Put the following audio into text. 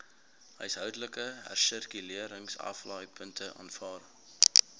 huishoudelike hersirkuleringsaflaaipunte aanvaar